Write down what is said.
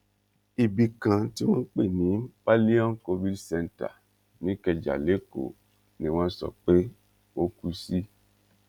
ibì kan tí wọn ń pè ní paelon covid centre nìkẹjà lẹkọọ ni wọn sọ pé ó kú sí